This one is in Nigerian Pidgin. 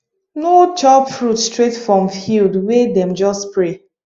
no chop fruit straight from field wey dem just spray